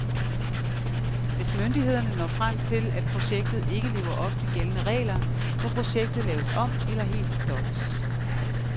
Hvis myndighederne når frem til, at projektet ikke lever op til gældende regler, må projektet laves om eller helt stoppes.